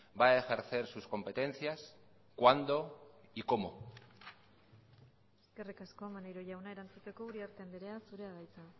va a ejercer sus competencias cuándo y cómo eskerrik asko maneiro jauna erantzuteko uriarte andrea zurea da hitza